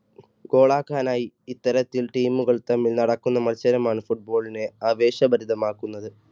goal ആക്കാനായി ഇത്തരത്തിൽ team കൾ തമ്മിൽ നടക്കുന്ന മത്സരമാണ് football നെ ആവേശഭരിതമാക്കുന്നത്.